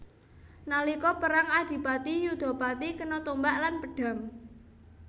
Nalika perang Adipati Yudapati kena tombak lan pedhang